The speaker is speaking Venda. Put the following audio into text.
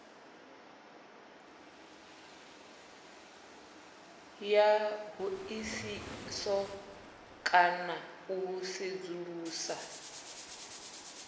ya hoisiso kana u sedzulusa